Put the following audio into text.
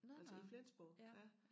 Altså i Flensborg ja